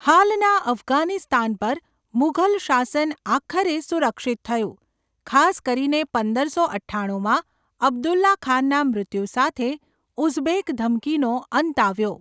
હાલના અફઘાનિસ્તાન પર મુઘલ શાસન આખરે સુરક્ષિત થયું, ખાસ કરીને પંદરસો અઠ્ઠાણુંમાં અબ્દુલ્લા ખાનના મૃત્યુ સાથે ઉઝબેક ધમકીનો અંત આવ્યો.